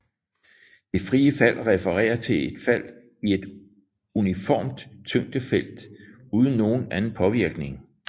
Det frie fald refererer til et frit fald i et uniformt tyngdefelt uden nogen anden påvirkning